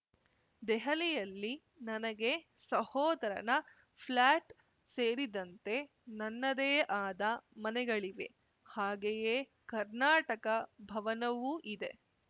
ದೆಹಲಿಯಲ್ಲಿ ನನಗೆ ಸಹೋದರನ ಫ್ಲ್ಯಾಟ್‌ ಸೇರಿದಂತೆ ನನ್ನದೇ ಆದ ಮನೆಗಳಿವೆ ಹಾಗೆಯೇ ಕರ್ನಾಟಕ ಭವನವೂ ಇದೆ